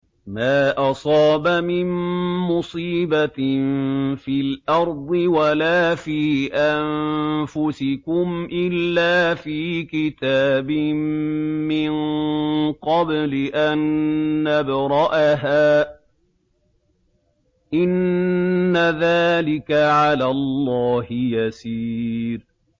مَا أَصَابَ مِن مُّصِيبَةٍ فِي الْأَرْضِ وَلَا فِي أَنفُسِكُمْ إِلَّا فِي كِتَابٍ مِّن قَبْلِ أَن نَّبْرَأَهَا ۚ إِنَّ ذَٰلِكَ عَلَى اللَّهِ يَسِيرٌ